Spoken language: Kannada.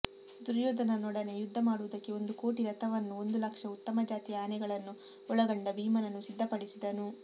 ದುರ್ಯೋಧನನೊಡನೆ ಯುದ್ಧ ಮಾಡುವುದಕ್ಕೆ ಒಂದು ಕೋಟಿ ರಥವನ್ನೂ ಒಂದುಲಕ್ಷ ಉತ್ತಮಜಾತಿಯ ಆನೆಗಳನ್ನೂ ಒಳಗೊಂಡ ಭೀಮನನ್ನು ಸಿದ್ಧಪಡಿಸಿದನು